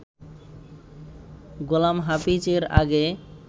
গোলাম হাফিজ এর আগে